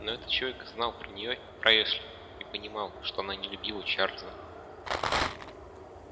но этот человек знал про неё и про эшли и понимал что она не любила чарлза